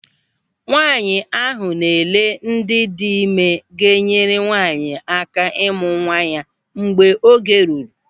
Nwaanyị ahụ na-ele ndị dị ịme ga-enyere nwaanyị aka ịmụ nwa ya mgbe oge ruru.